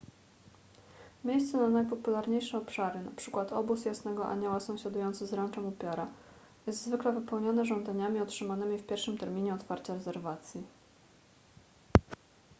miejsce na najpopularniejsze obszary np obóz jasnego anioła sąsiadujący z ranczem upiora jest zwykle wypełnione żądaniami otrzymanymi w pierwszym terminie otwarcia rezerwacji